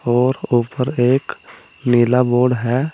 और ऊपर एक नीला बोर्ड है।